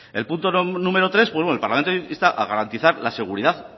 en el punto número tres el parlamento vasco insta a garantizar la seguridad